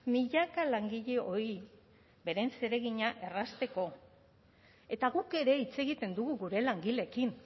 milaka langileei beren zeregina errazteko eta guk ere hitz egiten dugu gure langileekin